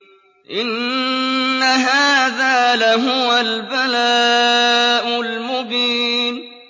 إِنَّ هَٰذَا لَهُوَ الْبَلَاءُ الْمُبِينُ